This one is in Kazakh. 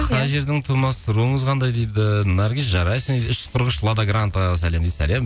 қай жердің тумасысыз руыңыз қандай дейді наргиз жарайсың үш жүз қырық үш лада грантадан сәлем дейді сәлем